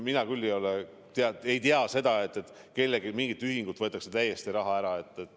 Mina küll ei tea seda, et kelleltki, mingilt ühingult võetakse raha täiesti ära.